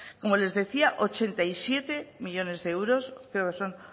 como les decía ochenta y siete millónes de euros creo que son